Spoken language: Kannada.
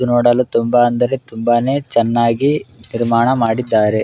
ಇದು ನೋಡಲು ತುಂಬಾ ಅಂದರೆ ತುಂಬಾನೇ ಚೆನ್ನಾಗಿ ನಿರ್ಮಾಣ ಮಾಡಿದ್ದಾರೆ